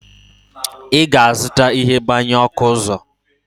ị ga-azụta ihe mgbanyụ ọkụ ọzọ?